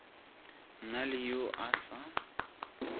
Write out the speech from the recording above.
na le yo a se